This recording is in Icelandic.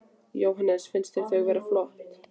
Jóhannes: Finnst þér þau vera flott?